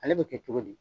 Ale bɛ kɛ cogo di